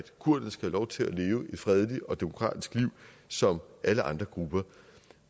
kurderne skal have lov til at leve et fredeligt og demokratisk liv som alle andre grupper